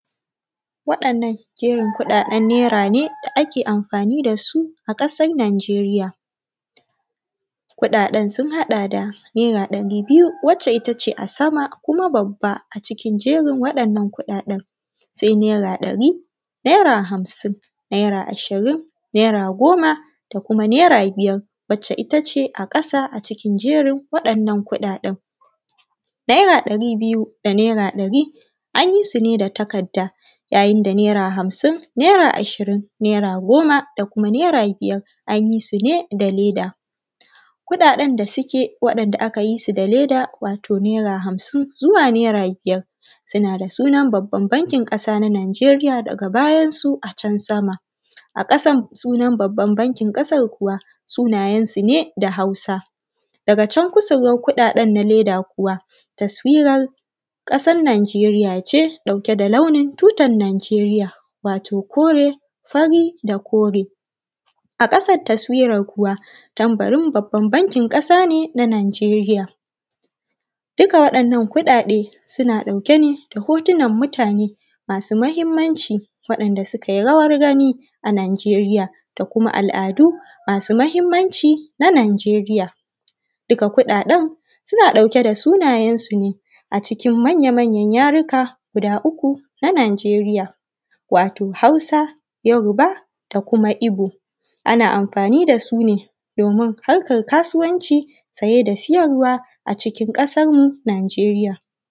wadan nan jerin kudadan naira ne da ake anfani da su a kasan nageriya kudadan sun hada da naira dari biyu wacce itace a sama kuma babba acikin jerin wadannan kudadan sai naira dari naira hamsin naira ashirin naira goma da kuma naira biyar wacce itace a kasa acikin jerin wadan nan kudadan naira dari biyu da naira dari anyi su ne da takadda yayin da naira hamsin naira ashirin naira goma da kuma naira biyar anyi su ne da leda kudadan da suke wadanda akayi su da leda wato naira hamsin zuwa naia biyar suna da sunan babban bakin kasa na najeriya daga bayan su a can sama a kasan sunan babban bankin kasan kuwa sunayan su ne da hausa daga can kusurwan kudadan na leda kuwa taswiran kasan nadzeriya ce dauke da launin tutan nadzeriya wato kore fari da kore a kasan taswiran kuwa tambarin babban bakin kasa ne na najeriya duka wadan nan kudade suna dauke ne da hotunan mutane masu mahimmanci wadan da sukai rawangani a najeriya da kuma al'adu masu mahimmanci na nijeriya duka kudadan suna dauke da suna yansu ne acikin manya-mayan yaruka guda uku na najeriya wato hausa yoruba da kuma igbo ana anfani da sune domin harkan kasuwan ci ciye da ciyar wa acikin ƙasan mu najeriya